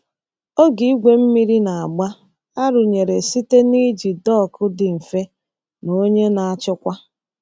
Oge igwe mmiri na-agba arụnyere site n’iji dọkụ dị mfe na onye na-achịkwa.